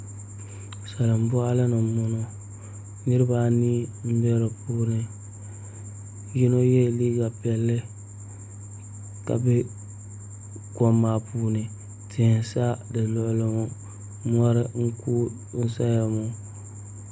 Salin boɣali ni n boŋo niraba anii n bɛ di puuni yino yɛ liiga piɛlli ka bɛ kom maa puuni tihi n sa di luɣuli ŋo mori n kuui n saya ŋo